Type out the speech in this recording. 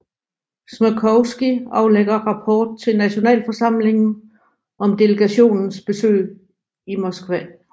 Smrkovský aflægger rapport til Nationalforsamlingen om delegationens besøg i Moskva